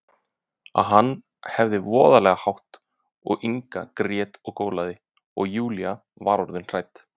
En hann hafði voðalega hátt og Inga grét og gólaði, og Júlía var orðin hrædd.